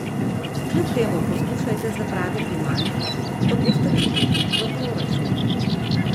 Kljub temu poskušajte zapraviti manj, kot boste prejeli v proračun.